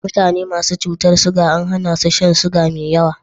Mutane masu cutar ciga an hana su shan ciga mai yawa.